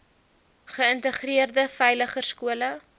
geïntegreerde veiliger skole